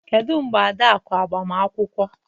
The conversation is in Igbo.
Kedu mgbe Adaku agbamakwụkwọ